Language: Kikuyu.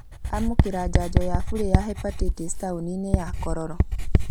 Amũkĩra njanjo ya bure ya Hepatitis taũni-inĩ ya Kororo